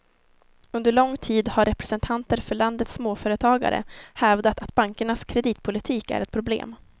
Under lång tid har representanter för landets småföretagare hävdat att bankernas kreditpolitik är ett problem.